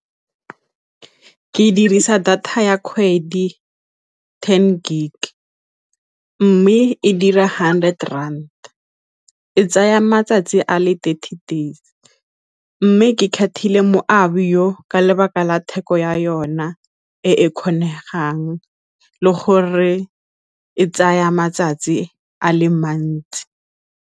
Ke dirisa data ya kgwedi ten gig, mme e dira hundred rand, e tsaya matsatsi a le thirty days, mme ke kgethile moabi ka lebaka la theko ya yona e e kgonegang le gore e tsaya matsatsi a le mantsi.